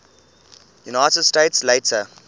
united states later